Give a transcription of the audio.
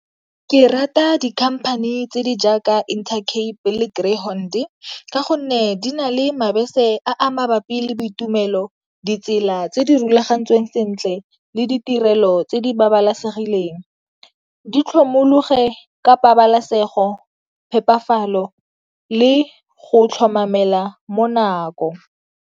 Ke rata dikhamphane tse di jaaka Intercape le Greyhound ka gonne di na le mabese a mabapi le boitumelo, ditsela tse di rulagantsweng sentle le ditirelo tse di babalesegileng. Di tlhomologe ka pabalesego, phepafatso le go tlhomamela mo nako.